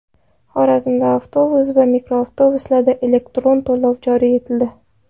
Xorazmda avtobus va mikroavtobuslarda elektron to‘lov joriy etildi.